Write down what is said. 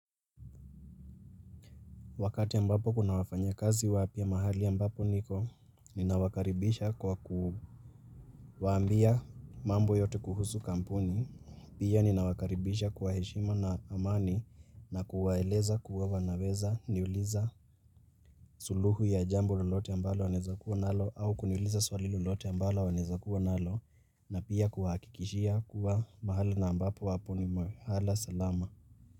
Wakati ambapo kuna wafanyakazi wapya mahali ambapo niko, ninawakaribisha kwa kuwaambia mambo yote kuhusu kampuni, pia ninawakaribisha kwa heshima na amani na kuwaeleza kuwa wanaweza niuliza suluhu ya jambo lolote ambalo wanaweza kuwa nalo au kuniuliza swali lolote ambalo wanaweza kuwa nalo na pia kuwahakikishia kuwa mahali na ambapo wapo ni mahali salama.